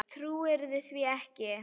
Trúirðu því ekki?